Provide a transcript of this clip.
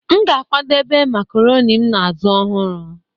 M ga-akwadebe marcaroni m na azụ ọhụrụ